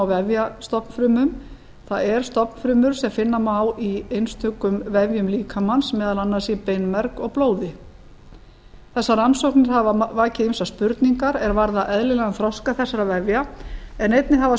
á vefjastofnfrumum það er stofnfrumur sem finna má í einstökum vefjum líkamans meðal annars í beinmerg og blóði þessar rannsóknir hafa vakið ýmsar spurningar er varða eðlilegan þroska þessara vefja en einnig hafa